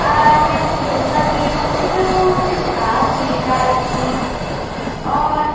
आर यखम ढुंगा छी यखम छुटु छुटू घास छी डाला छी और --